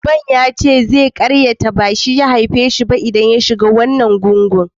Uban ya ce zai yi musun cewa ba shi bane ya aife shi, idan ka shiga wannan gungun.